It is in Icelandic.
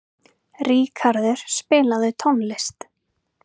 Ríkarður, spilaðu tónlist.